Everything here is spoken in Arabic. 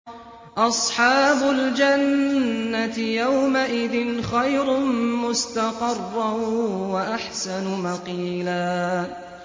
أَصْحَابُ الْجَنَّةِ يَوْمَئِذٍ خَيْرٌ مُّسْتَقَرًّا وَأَحْسَنُ مَقِيلًا